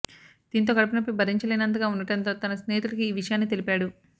దీంతో కడుపు నొప్పి బరించలేనంతగా ఉండటంతో తన స్నేహితుడికి ఈ విషయాన్ని తెలిపాడు